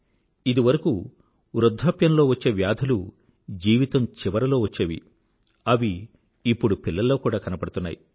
ఇదివరకూ వృద్ధాప్యంలో వచ్చే వ్యాధులు జీవితం చివరలో వచ్చేవి అవి ఇప్పుడు పిల్లల్లో కూడా కనబడుతున్నాయి